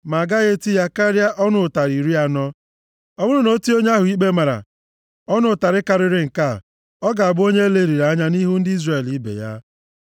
ma agaghị eti ya karịa ọnụ ụtarị iri anọ. Ọ bụrụ na e tie onye ahụ ikpe mara ọnụ ụtarị karịrị nke a, ọ ga-abụ onye e leliri anya nʼihu ndị Izrel ibe ya.